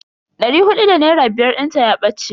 Dari hudu da naira biyar dinta ya bace.